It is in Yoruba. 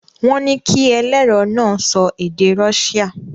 Wọ́n ní kí ẹlẹ́rọ̀ náà sọ èdè Rọ́ṣíà.